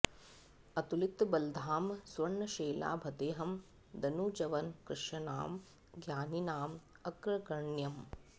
अतुलित बलधामं स्वर्ण शैलाभदेहम् दनुजवन कृशानं ज्ञानिनां अग्रगण्यम्